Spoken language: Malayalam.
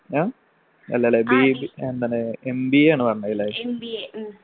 ആഹ് അല്ലല്ലെ BB എന്താണ് MBA ആണ് പറഞ്ഞത് ല്ലേ